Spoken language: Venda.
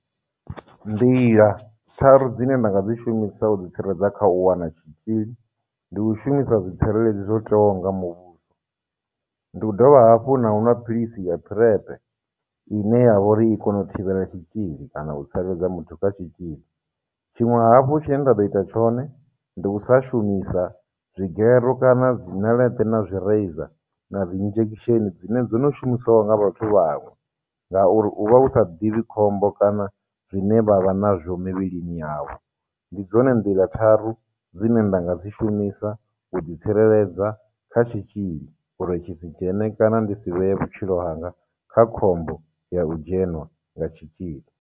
Nḓila tharu dzi ne nda nga dzi shumisa u ḓi tsireledza kha u wana tshitzhil, ndi u shumisa zwitsireledzi zwo tewaho nga muvhuso, ndi u dovha hafhu na u nwa philisi ya PrEP ine ya vha uri i kono u thivhela tshitzhili kana u tsireledza muthu kha tshitzhili, tshiṅwe hafhu tshine nda ḓo ita tshone, ndi u sa shumisa dzigero kana dzi ṋeleṱe na zwireiza na dzi injection dzine dzo no shumisiwaho nga vhathu vhaṅwe, ngauri u vha u sa ḓivhi khombo kana zwine vha vha na zwo mivhilini yavho. Ndi dzone nḓila tharu dzine nda nga dzi shumisa u ḓi tsireledza kha tshitzhili uri tshi si dzhene kana ndi si vhee vhutshilo hanga kha khombo ya u dzhenwa nga tshitzhili.